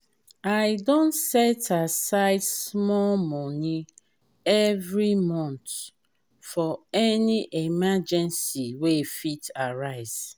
i don set aside small money every month for any emergency wey fit arise.